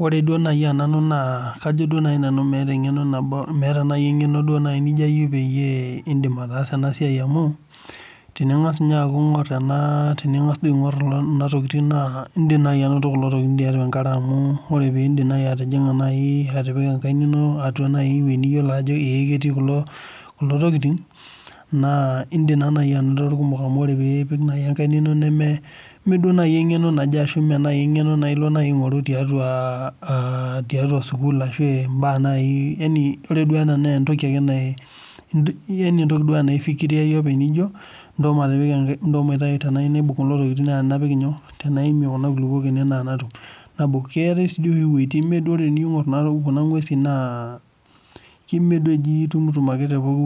Ore naaji tenanu naa meeta engeno nijo ayieu peyie iindim ataasa ena siai amuu, teningas aingor kuna tokitin naa indim anoto kuna tokitin tiatua enkare amuu indim atipika enkaina ino ewueji niyiolo ajo ketii kulo tokitin. Naa indim anoto oleng. Neme engeno naje ashuu ilo aingoru tedikae ana sukuul. Entoki ena nidamu ake ponye nijo ntasho matipika enkaina ene etayieu naibung naa katum. Keetai sii doi oshi wuejitin neme tiniingor duo kuna nguesin naa nemetumoi te pooki